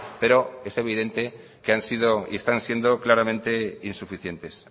pero es evidente que han sido y están siendo claramente insuficientes